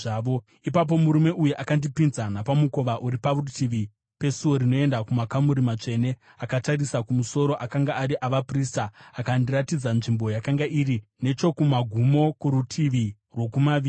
Ipapo murume uyu akandipinza napamukova uri parutivi pesuo rinoenda kumakamuri matsvene akatarisa kumusoro, akanga ari avaprista akandiratidza nzvimbo yakanga iri nechokumagumo kworutivi rwokumavirira.